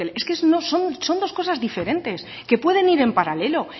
es que son dos cosas diferentes que pueden ir en paralelo